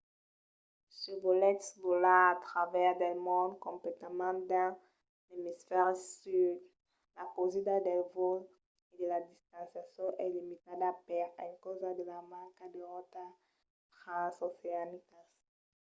se volètz volar a travèrs del mond completament dins l'emisfèri sud la causida dels vòls e de las destinacions es limitada per encausa de la manca de rotas transoceanicas